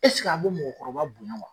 a be mɔgɔkɔrɔba bonya wa?